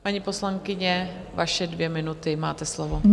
Paní poslankyně, vaše dvě minuty, máte slovo.